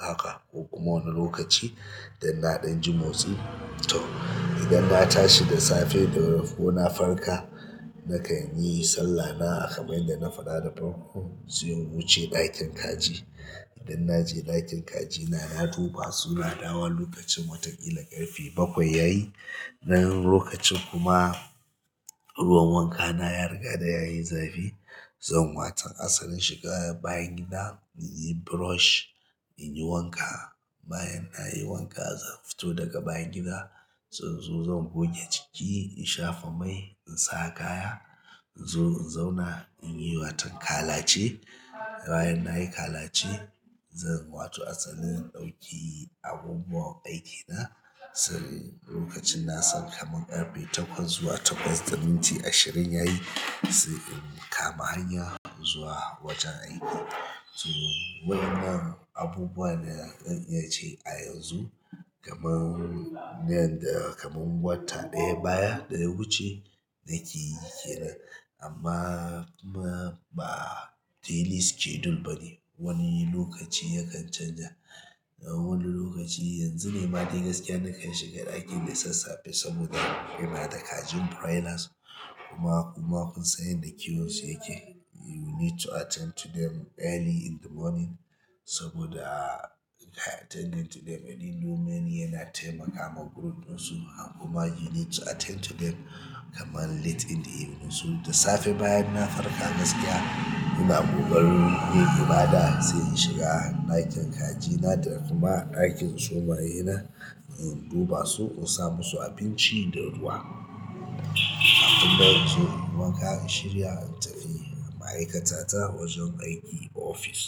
haka ko kuma wani lokaci da na ɗan ji motsi to idan na tashi da safe da rufe ko na farka nakan yi sallana a kamar yanda na faɗa da farko sai in wuce ɗakin kaji. Idan na je ɗakin kajina na duba su na dawo lokacin watan ƙila ƙarfe bakwai yayi. Nan lokacin kuma ruwan wanka na ya riga da yayi zafi. Zan waton asalin shiga bayan gida in yi brush, in yi wanka. Bayan nayi wanka zan fito daga bayan gida, zan zo zan goge jiki, in shafa mai, in sa kaya, in zo in zauna in yi watan kalace. Bayan nayi kalace zan wato asalin na ɗauki abubuwan aikina. Lokacin na san kamar ƙarfe takwas zuwa takwas da minti ashirin yayi sai na kama hanyar zuwa wajen aiki na to waɗannan abubuwa da zan iya ce a yanzu kamar nan da kamar wata ɗaya baya da ya wuce nake yake nan. Amma kuma ba daily schedule bane. Wani lokaci yakan canja. Wani lokaci yanzu ne ma dai gaskiya na kan shiga ɗakin da sassafe saboda ina da kajin broilers kuma kuma kun san yanda kiwon su yake you need to attend to them early in the morning saboda in ka attending to them early in the morning yana taimakawa group ɗinsu. Kuma you need to attend to them kamar late in the evening, so da safe bayan na farka ina ƙoƙarin yin ibada sai in shiga ɗakin kajina da ɗakin zomaye na na sa musu abinci da ruwa sannan in zo yi wanka in shirya in tafi ma'aikata ta wajen aiki office.